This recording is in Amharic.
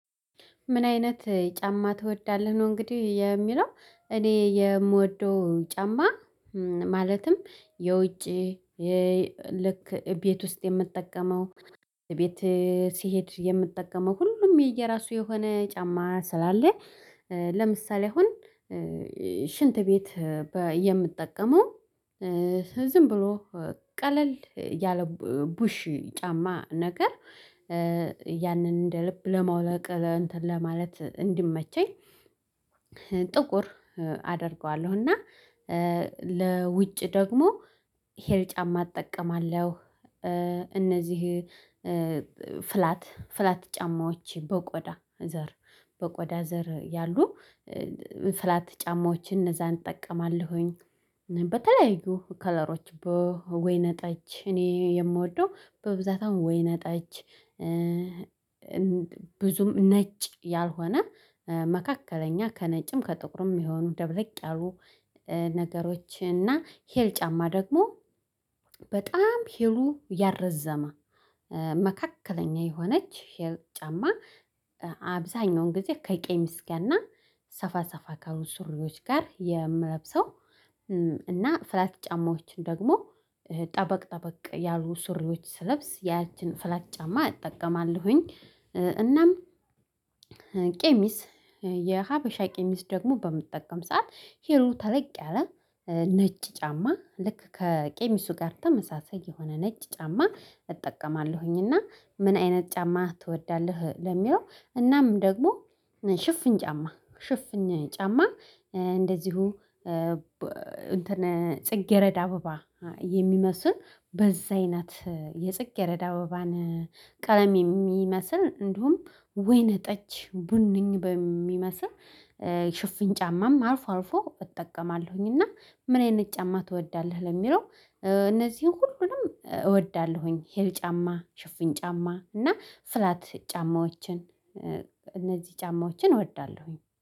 ምን አይነት ጫማ ትወዳለህ? ነው እንግዲህ የሚለው እኔ የምወደው ጫማ ማለትም የውጪ ልክ ቤት ውስጥ የምትጠቀመው ቤት ሲሄድ የምትጠቀመው ሁሉም የየራሱ የሆነ ጫማ ስላለ ለምሳሌ አሁን ሽንት ቤት የምጠቀመው ዝም ብሎ ቀለል ያለ ቡሽ ጫማ ነገር ያንን እንደ ልብ ለማውለቅ ለማለት እንዲመቸኝ ጥቁር አደርገዋለሁ እና ለውጭ ደግሞ ሄል ጫማ እጠቀማለሁ እነዚህ ፍላት ፍላት ጫማዎች በቆዳ ዘር በቆዳ ዘር ያሉ ፍላት ጫማዎችን እነዛን እጠቀማለሁኝ በተለያዩ ከለሮች በወይነ ጠጅ እኔ የምወደው በብዛት አሁን ወይነጫች ብዙም ነጭ ያልሆነ መካከለኛ ከነጭም ከጥቁርም የሆኑ ደብለቅ ያሉ ነገሮች እና ሄል ጫማ ደግሞ በጣም ሄሉ ያረዘመ መካከለኛ የሆነች ሄል የጫማ አብዛኛውን ጊዜ ከቄሚስ ጋ ና ሰፋ ሰፋ ካሉ ሱሪዎች ጋር የምለብሰው እና ፍላት ጫማዎችን ደግሞ ጠበቅ ጠበቅ ያሉ ሱሪዎች ስለብስ ያችን ፍላት ጫማ እጠቀማለሁኝ እናም ቄሚስ የሀበሻ ቄሚስ ደግሞ በምጠቀም ሰዓት ሂሉ ታለቅ ያለ ነጭ ጫማ ልክ ከቄሚሱ ጋር ተመሳሳይ የሆነ ነጭ ጫማ እጠቀማለሁኝ እና ምን አይነት ጫማ ትወዳለህ ለሚለው እናም ደግሞ ሽፍኝ ጫማ ሽፍኝ ጫማ እንደዚሁ ጽጌረዳ አበባ የሚመስል በዛይ ናት የጽቄረዳ ወባን ቀለም የሚመስል እንደውም ወይነ ጠጅ ቡነኝ በሚመስል ሽፍን ጫማም አልፎ አልፎ እጠቀማለሁኝ እና ምን አይነት ጫማ ትወዳለህ? ለሚለው እነዚህን ሁሉንም እወዳለሁኝ ሄል ጫማ ሽፍን ጫማ እና ፍላት ጫማዎችን እነዚህ ጫማዎችን እወዳለሁኝ